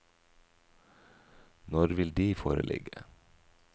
Når vil de foreligge?